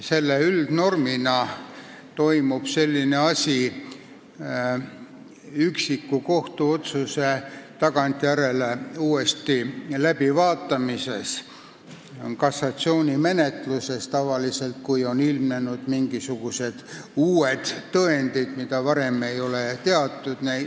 See toimub enamasti pärast üksiku kohtuotsuse tagantjärele uuesti läbivaatamist, tavaliselt kassatsioonimenetluses, sest on ilmnenud mingisugused uued tõendid, mida varem ei ole teatud.